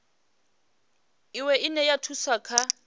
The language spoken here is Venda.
iwe ine ya thusa kha